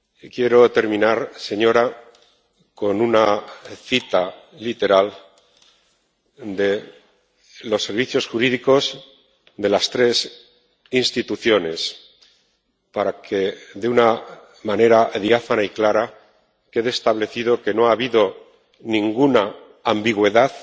Quiero terminar, señora presidenta, con una cita literal de los servicios jurídicos de las tres instituciones para que, de una manera diáfana y clara, quede establecido que no ha habido ninguna ambigüedad